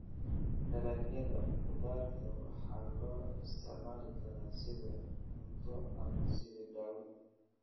Dalagyada khudaarta waxaa loo isticmaali karaa sidii cunto ama sidii dawo.